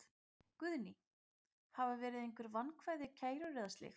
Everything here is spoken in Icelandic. Guðný: Hafa verið einhver vankvæði, kærur eða slíkt?